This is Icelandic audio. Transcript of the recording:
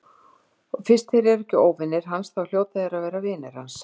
Og fyrst þeir eru ekki óvinir hans þá hljóta þeir að vera vinir hans.